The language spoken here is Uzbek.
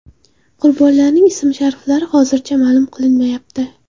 Qurbonlarning ism-shariflari hozircha ma’lum qilinmayapti.